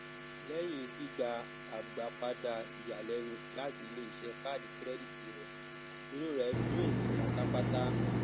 lẹyìn gbígbà agbápadà ìyàlẹnu láti iléiṣẹ kàádì kìrẹdítì rẹ inú rẹ dùn pátápátá